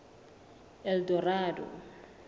eldorado